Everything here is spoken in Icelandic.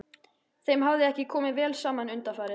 Þeim hafði ekki komið vel saman undanfarið.